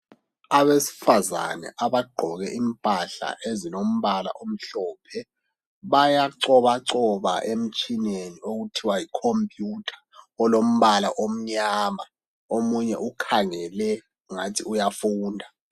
Abesifazana abagqoke impahla ezilombala omhlophe bayacobacoba emtshineni okuthiwa yi khompiyutha olombala omnyama. Omunye ukhangele ingathi uyafunda